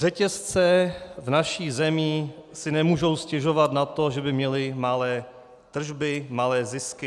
Řetězce v naší zemi si nemůžou stěžovat na to, že by měly malé tržby, malé zisky.